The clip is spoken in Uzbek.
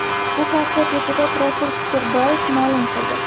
Bu haqda deputat Rasul Kusherboyev ma’lum qildi .